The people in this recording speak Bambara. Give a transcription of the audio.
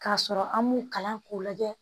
K'a sɔrɔ an m'u kalan k'u lajɛ